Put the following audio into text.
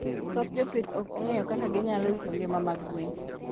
Thoth jopith ok ong'eyo kaka ginyalo rito ngima mag gwen.